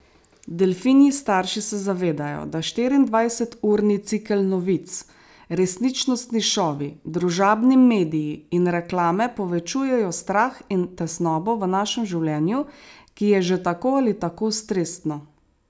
Delfinji starši se zavedajo, da štiriindvajseturni cikel novic, resničnostni šovi, družabni mediji in reklame povečujejo strah in tesnobo v našem življenju, ki je že tako ali tako stresno.